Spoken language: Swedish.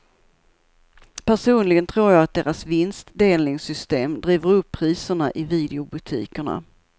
Personligen tror jag att deras vinstdelningssystem driver upp priserna i videobutikerna.